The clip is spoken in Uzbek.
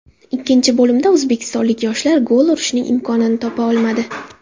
Ikkinchi bo‘limda o‘zbekistonlik yoshlar gol urishning imkonini topa olmadi.